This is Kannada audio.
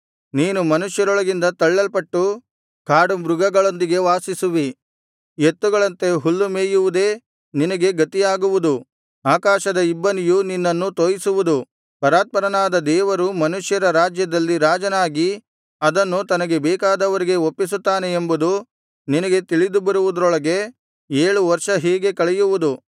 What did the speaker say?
ನೀನು ಮನುಷ್ಯರೊಳಗಿಂದ ತಳ್ಳಲ್ಪಟ್ಟು ಕಾಡು ಮೃಗಗಳೊಂದಿಗೆ ವಾಸಿಸುವಿ ಎತ್ತುಗಳಂತೆ ಹುಲ್ಲು ಮೇಯುವುದೇ ನಿನಗೆ ಗತಿಯಾಗುವುದು ಆಕಾಶದ ಇಬ್ಬನಿಯು ನಿನ್ನನ್ನು ತೋಯಿಸುವುದು ಪರಾತ್ಪರನಾದ ದೇವರು ಮನುಷ್ಯರ ರಾಜ್ಯದಲ್ಲಿ ರಾಜನಾಗಿ ಅದನ್ನು ತನಗೆ ಬೇಕಾದವರಿಗೆ ಒಪ್ಪಿಸುತ್ತಾನೆ ಎಂಬುದು ನಿನಗೆ ತಿಳಿದು ಬರುವುದರೊಳಗೆ ಏಳು ವರ್ಷ ಹೀಗೆ ಕಳೆಯುವುದು